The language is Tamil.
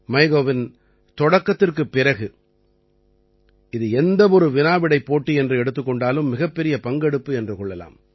மைகவ்வின் தொடக்கத்திற்குப் பிறகு இது எந்த ஒரு வினா விடைப் போட்டி என்று எடுத்துக் கொண்டாலும் மிகப்பெரிய பங்கெடுப்பு என்று கொள்ளலாம்